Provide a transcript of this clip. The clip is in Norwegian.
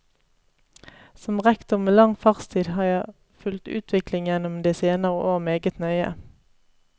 Som rektor med lang fartstid har jeg fulgt utviklingen gjennom de senere år meget nøye.